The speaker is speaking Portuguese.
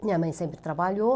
Minha mãe sempre trabalhou,